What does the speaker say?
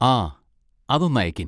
ആ, അതൊന്ന് അയക്കിൻ.